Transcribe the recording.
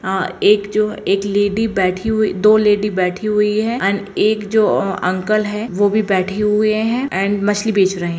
आ एक जो एक लेडी बैठी हुई दो लेडी बैठी हुई है एंड एक जो अंकल है वह भी बैठे हुए हैं एण्ड मछली बेच रहे है।